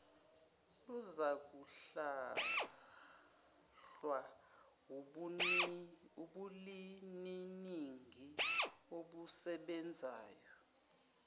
luzakuhlahlwa wubuliminingi obusebenzayo